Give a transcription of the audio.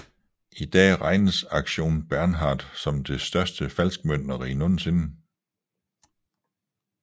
I dag regnes Aktion Bernhard som det største falskmøntneri nogensinde